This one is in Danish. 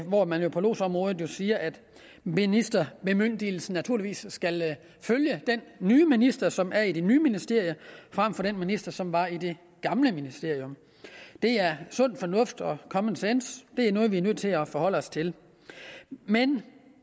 hvor man jo på lodsområdet siger at ministerbemyndigelsen naturligvis skal følge den nye minister som er i det nye ministerium frem for den minister som var i det gamle ministerium det er sund fornuft og common sense det er noget vi er nødt til at forholde os til men